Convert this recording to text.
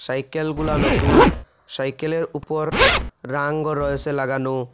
সাইকেলগুলা নতুন সাইকেলের ওপর রাঙও রয়েসে লাগানো।